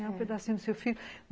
É um pedacinho do seu filho.